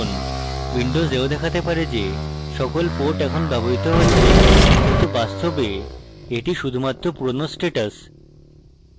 windows এও দেখাতে পারে যে সকল ports এখন ব্যবহৃত হচ্ছে কিন্তু বাস্তবে এটি শুধুমাত্র পুরানো status